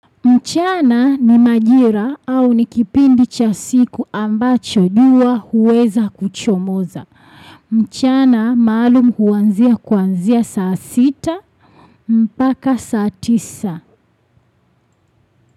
Mchana ni majira au ni kipindi cha siku ambacho jua huweza kuchomoza. Mchana maalumu huanzia kwanzia saa sita mpaka saa tisa.